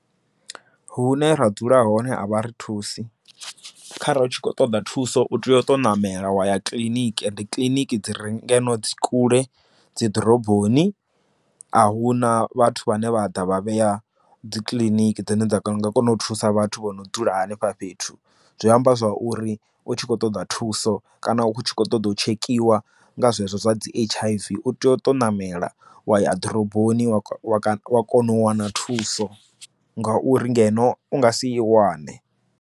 Hune ra dzula hone a vha ri thusi kharali hu tshi khou ṱoḓa thuso u tea u to ṋamela wa ya kiḽiniki ende kiliniki dzi re ngeno dzi kule dzi ḓoroboni a huna vhathu vhane vha ḓa vha vhea dzi kiḽiniki dzine dza kana u nga kona u thusa vhathu vho no dzula hanefha fhethu zwi amba zwa uri u tshi khou ṱoḓa thuso kana u tshi kho ṱoḓa u tshekhiwa nga zwezwo zwa dzi H_I_V u tea u to ṋamela wa ya ḓoroboni wa kona u wana thuso nga uri ngeno u nga si i wane.